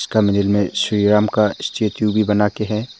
कमरे मे श्री राम का स्टेचू भी बना के है।